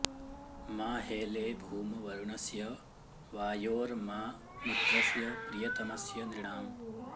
मा हेळे॑ भूम॒ वरु॑णस्य वा॒योर्मा मि॒त्रस्य॑ प्रि॒यत॑मस्य नृ॒णाम्